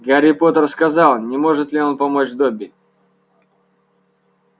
гарри поттер сказал не может ли он помочь добби